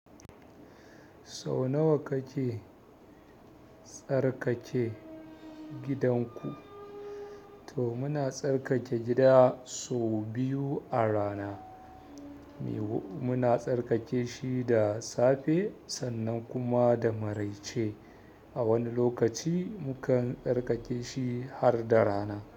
Sau nawa kake tsarkake gidanku? To muna tsarkake gida sau biyu a rana. Yiwu muna tsarkake shi da safe sannan kuma da marai ce a wani lokaci mukan tsarkake shi har da rana.